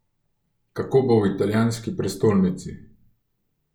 Kako bo v italijanski prestolnici.